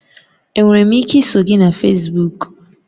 Enwere m ike iso gị na Fesbuk?